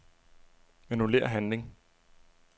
Annullér handling.